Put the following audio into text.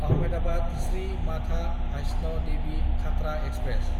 आहमेदाबाद–श्री माथा भाइस्न देबि खाथ्रा एक्सप्रेस